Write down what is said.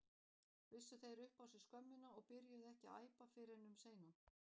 Vissu þeir upp á sig skömmina og byrjuðu ekki að æpa fyrr en um seinan?